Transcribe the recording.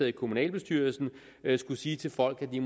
i kommunalbestyrelsen skulle sige til folk at de